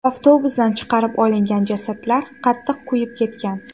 Avtobusdan chiqarib olingan jasadlar qattiq kuyib ketgan.